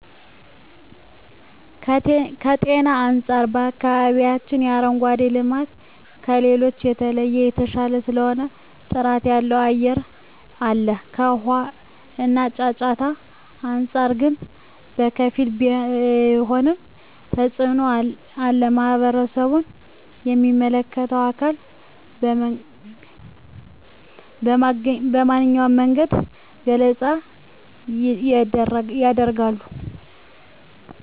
ከጤና አንፃር በአከባቢያችን የአረንጓዴ ልማት ከሌሎቹ በተለየ የተሻለ ስለሆነ ጥራት ያለው አየር አለ ከውሃ እና ጫጫታ አንፃር ግን በከፊል ቢሆንም ተፅኖ አለ ማህበረሰቡም ለሚመለከተው አካል በመንኛውም መንገድ ገለፃ የደርጋሉ።